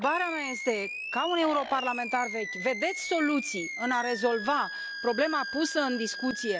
Întrebarea mea este ca europarlamentar vechi, vedeți soluții în a rezolva problema pusă în discuție?